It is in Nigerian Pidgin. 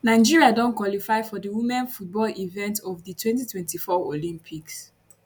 nigeria don qualify for di women football event of di 2024 olympics